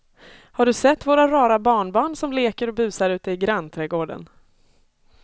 Har du sett våra rara barnbarn som leker och busar ute i grannträdgården!